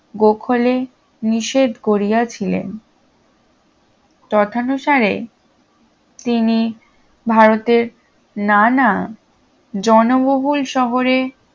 গোখলে নিষেধ করিয়াছিলেন তথানুসারে তিনি ভারতের নানা জনবহুল শহরে